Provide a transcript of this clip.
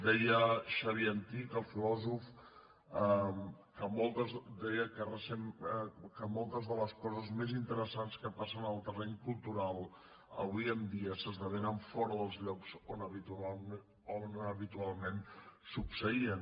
deia xavier antich el filòsof que moltes de les coses més interessants que passen en el terreny cultural avui en dia s’esdevenen fora dels llocs on habitualment succeïen